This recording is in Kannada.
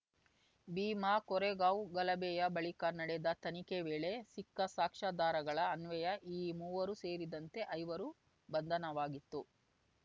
ಭೀಮಾಕೋರೆಗಾಂವ್‌ ಗಲಭೆಯ ಬಳಿಕ ನಡೆದ ತನಿಖೆ ವೇಳೆ ಸಿಕ್ಕ ಸಾಕ್ಷ್ಯಾಧಾರಗಳ ಅನ್ವಯ ಈ ಮೂವರು ಸೇರಿದಂತೆ ಐವರು ಬಂಧನವಾಗಿತ್ತು